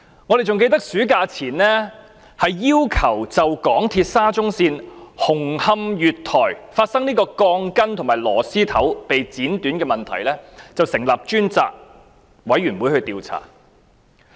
還記得在暑假前，我們曾要求就香港鐵路有限公司沙中線紅磡月台發生鋼筋和螺絲頭被剪斷的問題成立專責委員會進行調查。